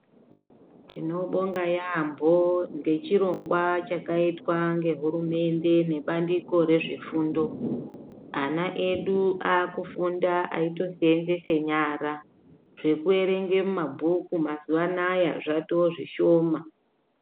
Tinobonga yambo nechirongwa chakaitwa nehurumende nebandiko rezvefundo ana edu akufunda eisevenzesa nyara zvekuerenga mabhuku mazuva anawa zvatozvishoma.